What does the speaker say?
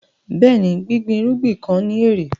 Bẹ́ẹ̀ni, gbígbín irugbin kan ni ẹ̀rẹ̀.